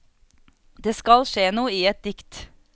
Det skal skje noe i et dikt.